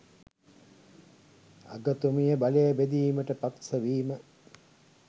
අග.තුමිය බලය බෙදීමට පක්ෂවීම